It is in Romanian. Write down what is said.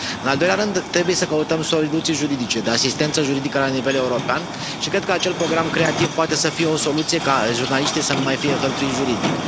În al doilea rând, trebuie să căutăm soluții juridice, de asistență juridică la nivel european și cred că acel program creativ poate să fie o soluție ca jurnaliștii să nu mai fie hărțuiți juridic.